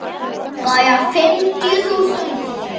Ekki nógu góður!